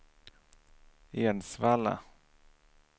Edsvalla